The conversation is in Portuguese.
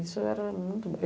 Isso era muito bom.